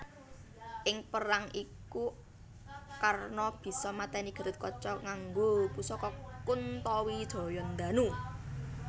Ing perang iku Karna bisa maténi Gathotkaca nganggo pusaka Kuntowijoyondanu